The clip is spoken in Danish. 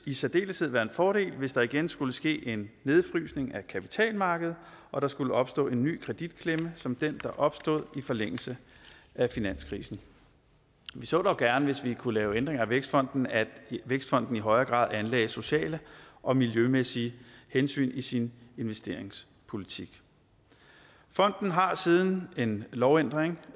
i særdeleshed være en fordel hvis der igen skulle ske en nedfrysning af kapitalmarkedet og der skulle opstå en ny kreditklemme som den der opstod i forlængelse af finanskrisen vi så dog gerne hvis vi kunne lave ændringer af vækstfonden at vækstfonden i højere grad anlagde sociale og miljømæssige hensyn i sin investeringspolitik fonden har siden en lovændring